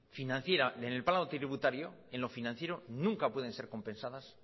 financiera en el plano tributario en lo financiero nunca pueden ser compensadas